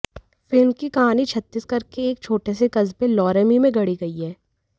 film की कहानी छत्तीसगढ़ के एक छोटे से कस्बे लोरमी में गढ़ी गई है